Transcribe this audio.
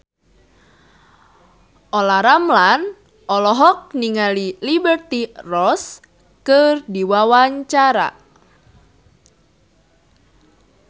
Olla Ramlan olohok ningali Liberty Ross keur diwawancara